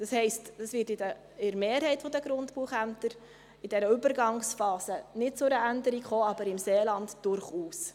Das heisst, es wird bei der Mehrheit der Grundbuchämter in dieser Übergangsphase nicht zu einer Änderung kommen, aber im Seeland durchaus.